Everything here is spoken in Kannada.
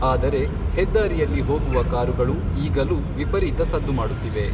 ಆದರೆ, ಹೆದ್ದಾರಿಯಲ್ಲಿ ಹೋಗುವ ಕಾರುಗಳು ಈಗಲೂ ವಿಪರೀತ ಸದ್ದು ಮಾಡುತ್ತಿವೆ.